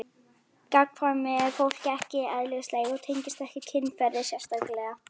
Gagnkvæmni er fólki ekki eðlislæg og tengist ekki kynferði sérstaklega.